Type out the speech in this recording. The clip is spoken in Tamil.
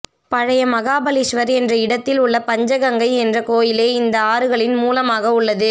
பழைய மகாபலீஸ்வர் என்ற இடத்தில் உள்ள பஞ்சகங்கை என்ற கோயிலே இந்த ஆறுகளின் மூலமாக உள்ளது